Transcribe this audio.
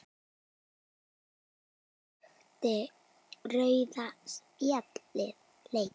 Breytti rauða spjaldið leiknum?